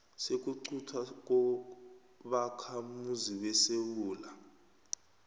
sokuquntwa kobakhamuzi besewula